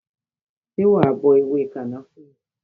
Ṣé wa bọ ewé kànáfùrú?